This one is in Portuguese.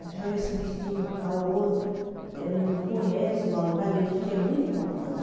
A pessoa vê subestima a outra, né não conhece o valor para Deus, a gente é muito importante.